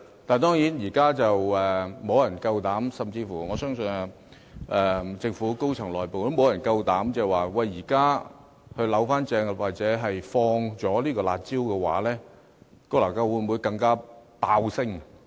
當然，現在沒有人膽敢這樣做，我相信甚至政府內部的高層亦沒有人膽敢矯正，又或擔心一旦放棄"辣招"會令樓價"暴升"。